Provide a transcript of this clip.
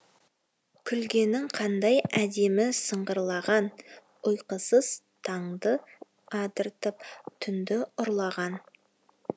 күлгенің қандай әдемі сыңғырлаған ұйқысыз таңды атыртып тұнді ұрлаған